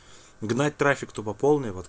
гнать трафик тупой